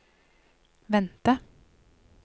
vente